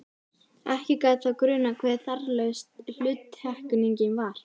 Ekki gat þá grunað hve þarflaus hluttekningin var!